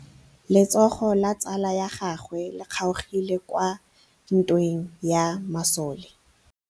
Letsôgô la tsala ya gagwe le kgaogile kwa ntweng ya masole.